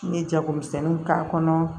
N ye jagomisɛnninw k'a kɔnɔ